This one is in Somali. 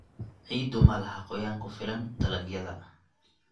Ciiddu malaha qoyaan ku filan dalagyada.